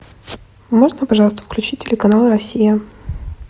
можно пожалуйста включить телеканал россия